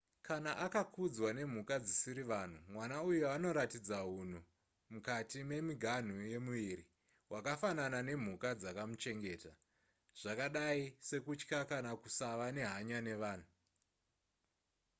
kana akakudzwa nemhuka dzisiri vanhu mwana uyu anoratidza hunhu mukati memiganhu yemuviri hwakafanana nemhuka dzakamuchengeta zvakadai sekutya kana kusava nehanya nevanhu